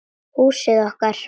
Húsið okkar.